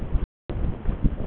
Við komum í gær eins og þið.